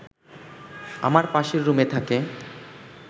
আমার পাশের রুমে থাকে